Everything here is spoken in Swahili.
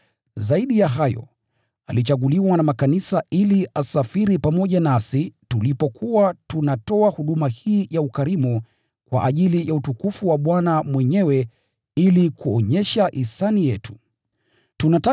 Zaidi ya hayo, alichaguliwa na makanisa ili asafiri pamoja nasi tulipokuwa tunapeleka matoleo ya ukarimu, kwa ajili ya utukufu wa Bwana mwenyewe, na ili kuonyesha hisani yetu kuwasaidia.